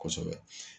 Kosɛbɛ